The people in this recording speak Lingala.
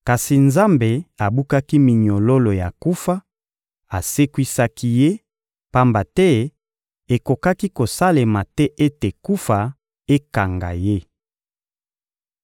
Kasi Nzambe abukaki minyololo ya kufa, asekwisaki Ye, pamba te ekokaki kosalema te ete kufa ekanga Ye.